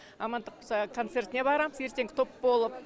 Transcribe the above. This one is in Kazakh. амандық болса концертіне барамыз ертең топ болып